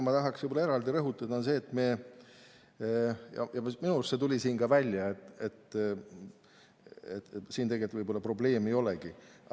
Ma tahaksin eraldi rõhutada seda, mis minu arust tuli siin ka välja, et võib-olla siin probleeme ei olegi.